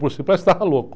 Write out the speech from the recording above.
Parece que estava louco.